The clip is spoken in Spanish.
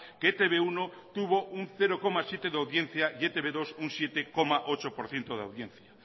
que e te be uno tuvo un cero coma siete por ciento de audiencia y e te be dos un siete coma ocho por ciento de audiencia